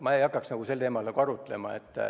Ma ei hakkaks sel teemal arutlema.